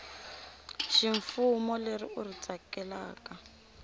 ximfumo leri u ri tsakelaka